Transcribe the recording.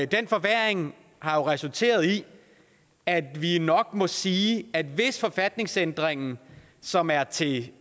den forværring har jo resulteret i at vi nok må sige at hvis forfatningsændringen som er til